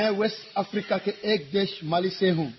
मैं West Africa के एक देश माली से हूँ